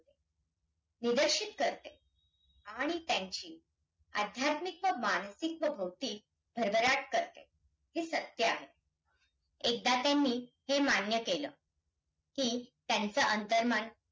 आतापर्यंत जर पहायचे झाल्यास आपल्या या भारत देशामध्ये जवळपास पंधरा वित्तआयोग हे राष्ट्रपती द्वारे नेमिले होते.